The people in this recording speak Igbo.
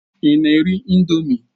Ị na-eri ị̀ndómị́?